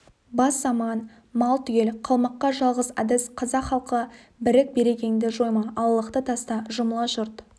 бас аман мал түгел қалмаққа жалғыз әдіс қазақ халқы бірік берекеңді жойма алалықты таста жұмыла жұрт